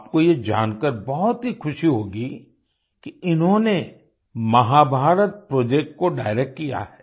आपको ये जानकार बहुत ही ख़ुशी होगी कि इन्होंने महाभारत प्रोजेक्ट को डायरेक्ट किया है